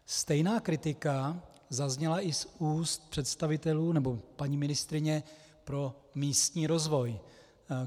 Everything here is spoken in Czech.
Stejná kritika zazněla i z úst představitelů nebo paní ministryně pro místní rozvoj.